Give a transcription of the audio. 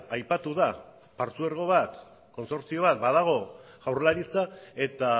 aipatu da patzuergo bat kontsortzio bat badago jaurlaritza eta